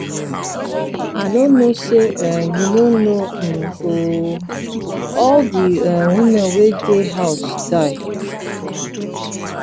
i no know say um you no know um ooo. all the um women wey dey house die.